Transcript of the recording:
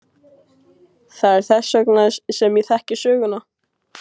Það er þess vegna sem ég þekki söguna.